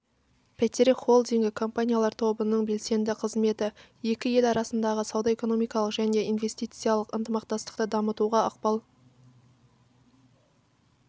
бәйтерек холдингі компаниялар тобының белсенді қызметі екі ел арасындағы сауда-экономикалық және инвестициялық ынтымақтастықты дамытуға ықпал